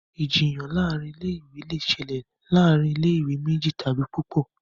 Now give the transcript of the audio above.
Ìjiyàn láàrin ilé ìwé lẹ ṣẹlẹ láàrin ilé ìwé méjì tàbí púpọ.